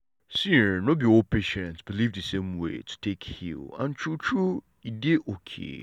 see[um]no be all patients believe the same way to take heal and true true e dey okay.